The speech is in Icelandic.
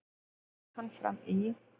og fer hann fram í